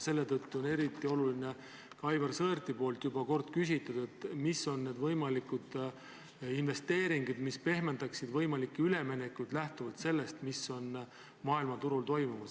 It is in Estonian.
Selle tõttu on eriti oluline Aivar Sõerdi küsitu, mis on need võimalikud investeeringud, mis pehmendaksid üleminekuid lähtuvalt sellest, mis on maailmaturul toimumas.